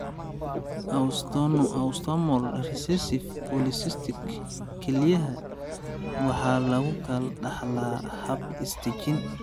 Autosomal recessive polycystic kelyaha (ARPKD) waxa lagu kala dhaxlaa hab is-dajin.